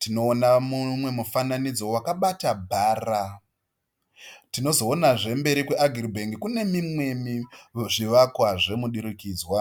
Tinoona mumwe mufananidzo wakabata bhara. Tinozoonazve mberi kwe"AgriBank" kune mimwe zvivakwa zvomudurikidzwa.